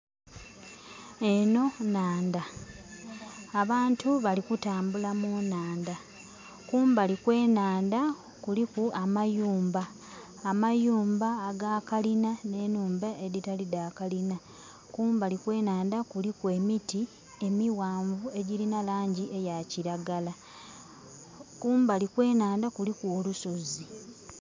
Eno nnandha. Abantu balikutambula mu nandha. Kumbali kwe nandha kuliku amayumba, amayumba aga kalina ne nhumba editali da kalina. Kumbali kwenanda kuliku emiti emiwanvu egirina langi eya kiragala. Kumbali kwe nandha kuliku olusozi